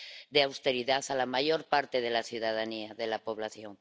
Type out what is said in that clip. de austeridad a la mayor parte de la ciudadanía, de la población.